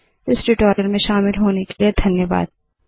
इस ट्यूटोरियल में शामिल होने के लिए धन्यवाद